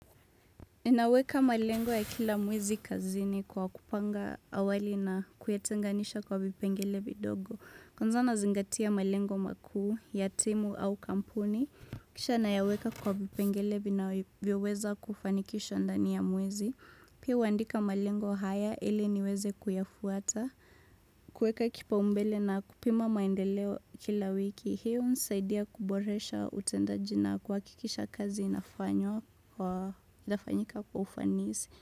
Ninaweka malengo ya kila mwezi kazini kwa kupanga awali na kuyatenganisha kwa vipengele vidogo. Kwanza nazingatia malengo makuu, ya timu au kampuni. Kisha nayaweka kwa vipengele vinavyoweza kufanikisha ndani ya mwezi. Pia huandika malengo haya, ili niweze kuyafuata. Kuweka kipaumbele na kupima maendeleo kila wiki. Hiyo unisaidia kuboresha utendaji na kuhakikisha kazi inafanywa wa inafanyika kwa ufanisi.